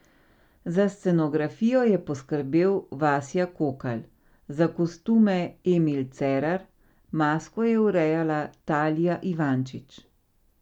Za scenografijo je poskrbel Vasja Kokalj, za kostume Emil Cerar, masko je urejala Talija Ivančič.